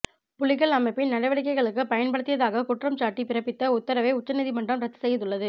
புலிகள் அமைப்பின் நடவடிக்கைகளுக்கு பயன்படுத்தியதாக குற்றம்சாட்டி பிறப்பித்த உத்தரவை உச்ச நீதிமன்றம் ரத்து செய்துள்ளது